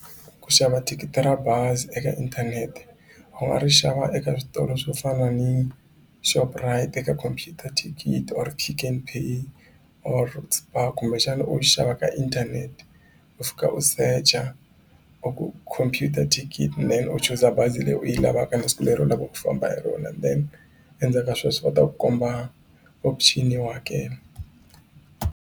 Ku xava thikithi ra bazi eka inthanete u nga ri xava eka switolo swo fana ni Shoprite eka computer ticket or Pick n Pay or Spar kumbexana u xava ka inthanete u fika u secha or u ku computer ticket then u chuza bazi leyi u yi lavaka na siku leri u lava ku famba hi rona then endzhaku ka sweswo va ta ku komba option yo hakela.